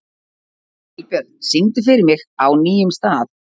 Vilbjörn, syngdu fyrir mig „Á nýjum stað“.